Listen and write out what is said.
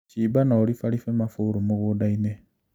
Shimba na ũribaribe mabũrũ mũgũndainĩ